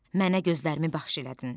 Mənə gözlərimi bəxş elədin.